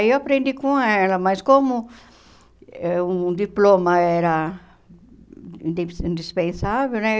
Aí eu aprendi com ela, mas como eh um diploma era indip indispensável, né?